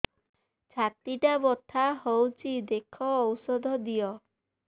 ଛାତି ଟା ବଥା ହଉଚି ଦେଖ ଔଷଧ ଦିଅ